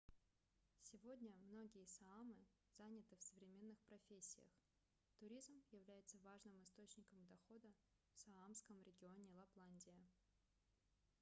сегодня многие саамы заняты в современных профессиях туризм является важным источником дохода в саамском регионе лапландия